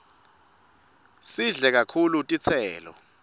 sidle kakhulu titselo